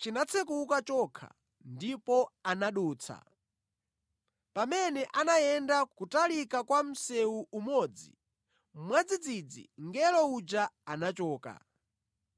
chinatsekuka chokha ndipo anadutsa. Pamene anayenda kutalika kwa msewu umodzi, mwadzidzidzi mngelo uja anachoka.